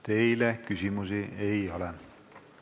Teile küsimusi ei ole.